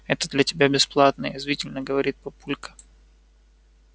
это для тебя бесплатное язвительно говорит папулька